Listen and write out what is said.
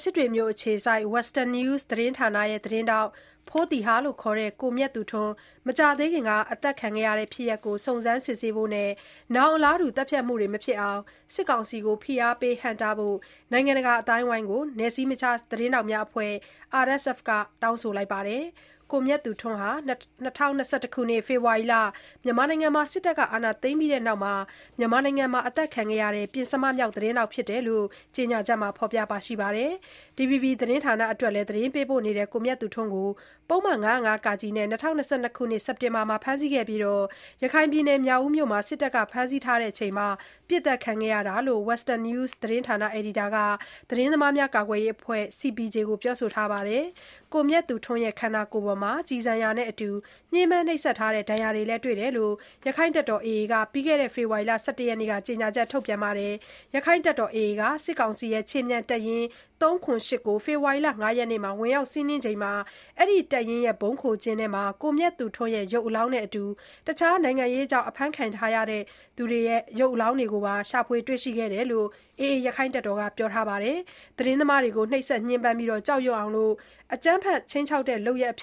စစ်တွေမြို့ အခြေစိုက် Western News သတင်းဌာနရဲ့ သတင်းထောက် ဖိုးသီဟ ( ခေါ်) ကိုမြတ်သူထွန်း မကြာသေးခင်က အသတ်ခံခဲ့ရတဲ့ ဖြစ်ရပ်ကို စုံစမ်းစစ်ဆေးဖို့နဲ့ ဒီလို အလားတူ သတ်ဖြတ်မှုတွေ မဖြစ်အောင် စစ်ကောင်စီကို ဖိအားပေး ဟန့်တားဖို့ နိုင်ငံတကာ အသိုင်းအဝိုင်းကို နယ်စည်းမခြား သတင်းထောက်များအဖွဲ့ RSF က တောင်းဆိုလိုက်ပါတယ်။ ကိုမြတ်သူထွန်းဟာ ၂၀၂၁ ခုနှစ် ဖေဖေါ်ဝါရီလ စစ်တပ်က အာဏာသိမ်းပြီးနောက်ပိုင်း မြန်မာနိုင်ငံမှာ အသတ်ခံခဲ့ရတဲ့ ပဥ္စမမြောက် သတင်းထောက် ဖြစ်တယ်ဆိုတာကိုလည်း RSF အဖွဲ့ရဲ့ ကြေညာချက်မှာ ဖေါ်ပြပါတယ်။ DVB သတင်းဌာနအတွက်လည်း သတင်းပေးပို့နေတဲ့ ကိုမြတ်သူထွန်းကို ပုဒ်မ ၅၀၅ (က) နဲ့ ၂၀၂၂ စက်တင်ဘာလထဲ ဖမ်းဆီးခဲ့ပြီးနောက်၊ ရခိုင်ပြည်နယ် မြောက်ဦးမြို့မှာ စစ်တပ်က ဖမ်းဆီးထားတဲ့အချိန် ပစ်သတ်ခံခဲ့ရတာလို့ Western News သတင်းဌာန အယ်ဒီတာတဦးက သတင်းသမားများ ကာကွယ်ရေးအဖွဲ့ CPJ ကို ပြောဆိုထားပါတယ်။ ကိုမြတ်သူထွန်းရဲ့ ခန္ဓာကိုယ်ပေါ်မှာ ကျည်ဆံရာနဲ့အတူ ညှင်းပန်းနှိပ်စက်ထားတဲ့ ဒဏ်ရာတွေလည်း တွေ့ရတယ်လို့ ရက္ခိုင့်တပ်တော် AA အဖွဲ့ကလည်း ပြီးခဲ့တဲ့ ဖေဖေါ်ဝါရီလ ၁၁ ရက်နေ့မှာ ကြေညာချက် ထုတ်ပြန်ခဲ့ပါတယ်။ ရခိုင့်တပ်တော် AA က စစ်ကောင်စီ ခြေမြန်တပ်ရင်း (၃၇၈)ကို ဖေဖေါ်ဝါရီ ၅ ရက်မှာ ဝင်ရောက်စီးနင်းခံပြီးနောက် ၊ အဲဒီ တပ်ရင်းရဲ့ ဗုံးခိုကျင်း တခုထဲမှာ ကိုမြတ်သူထွန်းရဲ့ ရုပ်အလောင်းနဲ့အတူ တခြား နိုင်ငံရေးကြောင့် အဖမ်းခံရသူတွေရဲ့ ရုပ်အလောင်းကိုပါ ရှာဖွေ တွေ့ရှိခဲ့တယ်လို့ AA အဖွဲ့က ပြောဆိုထားပါတယ်။ သတင်းသမားတွေအပေါ် နှိပ်စက်ညှဉ်းပန်းပြီး ကြောက်ရွံ့အောင် အကြမ်းဖက် ခြိမ်းခြောက်တဲ့ လုပ်ရပ်အဖြ